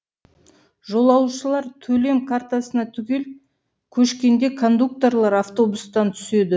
жолаушылар төлем картасына түгел көшкенде кондукторлар автобустан түседі